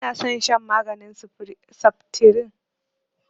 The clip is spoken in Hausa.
Ba na son shan maganin saftirin